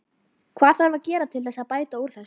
Hvað þarf að gera til þess að bæta úr þessu?